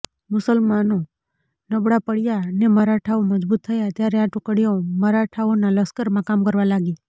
મુસલમાનો નબળા પડ્યા ને મરાઠાઓ મજબૂત થયા ત્યારે આ ટુકડીઓ મરાઠાઓના લશ્કરમાં કામ કરવા લાગી